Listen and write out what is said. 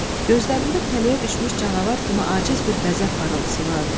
Gözlərində tələyə düşmüş canavar kimi aciz bir qəzəb parıltısı vardı.